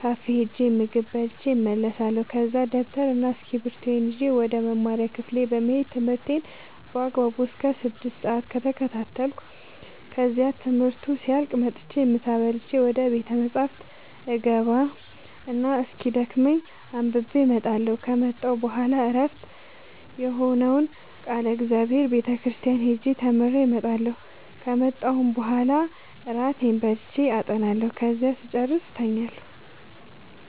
ካፌ ሄጄ ምግብ በልቼ እመለሳለሁ ከዛ ደብተርና እስኪብርቶዬን ይዤ ወደ መማሪያ ክፍሌ በመሄድ ትምህርቴን በአግባቡ እስከ ስድስት ሰአት እከታተላለሁ ከዚያም ትምህርቱ ሲያልቅ መጥቼ ምሳ በልቼ ወደ ቤተ መፅሀፍ እገባ እና እስኪደክመኝ አንብቤ እመጣለሁ ከመጣሁ በኋላ ዕረፍት የሆነውን ቃለ እግዚአብሔር ቤተ ክርስቲያን ሄጄ ተምሬ እመጣለሁ ከመጣሁም በኋላ እራቴን በልቼ አጠናለሁ ከዚያም ስጨርስ እተኛለሁ።